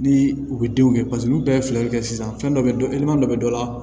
Ni u bɛ denw kɛ paseke olu bɛɛ ye filɛlikɛ sisan fɛn dɔ bɛ dɔ dɔ bɛ dɔ la